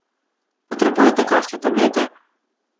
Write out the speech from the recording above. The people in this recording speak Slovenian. Potrebujete kakšne tablete?